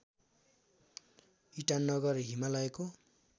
ईटानगर हिमालयको